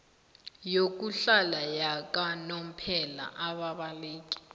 yokuhlala yakanomphela ababaleki